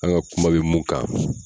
An ka kuma bɛ mun kan